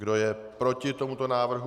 Kdo je proti tomuto návrhu?